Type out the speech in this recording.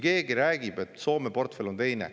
Räägitakse, et Soome portfell on teine.